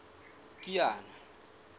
kiana